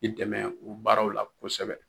K'i dɛmɛ o baaraw la kosɛbɛ